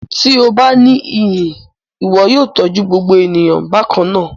Ti o ba ni iyi, iwọ yóò tọju gbogbo eniyan bakanna